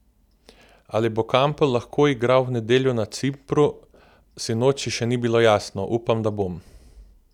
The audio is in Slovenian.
Ali bo Kampl lahko igral v nedeljo na Cipru, sinoči še ni bilo jasno: "Upam, da bom.